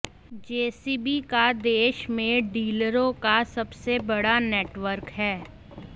JCB का देश भर में डीलरों का सबसे बड़ा नेटवर्क है